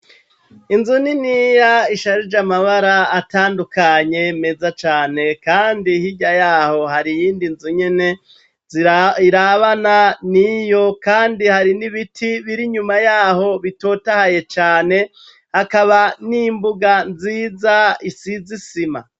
Inzu niniya isharije amabara atandukanye meza cane kandi hirya yaho hari iyindi nzu nyene irabana niyo kandi hari n'ibiti biri nyuma yaho bitotahaye cane hakaba n'imbuga nziza isize isima.